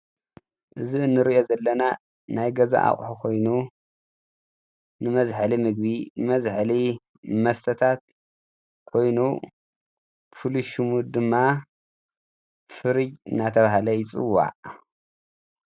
እዚ ንርእዮ ዘለና ናይ ገዛ ኣቁሑ ኮይኑ ንመዝሕሊ ምግቢንመዝሕሊ መስተታት ኮይኑ ፍሉይ ሽሙ ድማ ፍርጅ እናተባሃለ ይፅዋዕ።